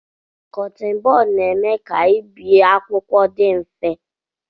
Kọttin bọd na-eme ka ibie akwụkwọ dị mfe